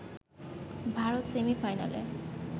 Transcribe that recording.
ভারত সেমিফাইনালে